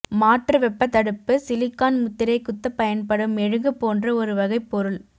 மாற்று வெப்பத்தடுப்பு சிலிகான் முத்திரை குத்தப் பயன்படும் மெழுகு போன்ற ஒரு வகைப் பொருள்